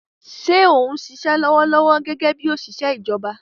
Ṣé o ń ṣiṣẹ́ lọ́wọ́lọ́wọ́ gẹ́gẹ́ bí òṣìṣẹ́ ìjọba?